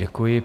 Děkuji.